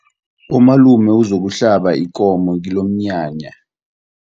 Umalume uzokuhlaba ikomo kilomnyanya.